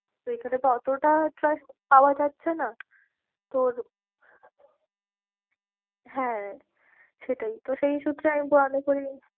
তো এইখানে তো অতটা ছাড় পাওয়া যাচ্ছে না তোর হ্যাঁ সেটাই তো সেই সূত্রে আমি